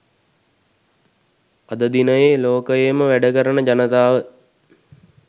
අද දිනයේ ලෝකයේම වැඩ කරන ජනතාව